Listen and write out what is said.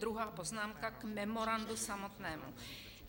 Druhá poznámka, k memorandu samotnému.